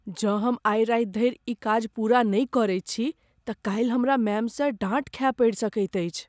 जँ हम आइ राति धरि ई काज पूरा नहि करैत छी तऽ काल्हि हमरा मैमसँ डाँट खाय पड़ि सकैत अछि।